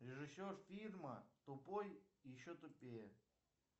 режисер фильма тупой и еще тупее